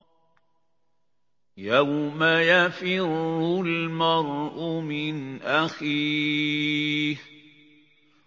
يَوْمَ يَفِرُّ الْمَرْءُ مِنْ أَخِيهِ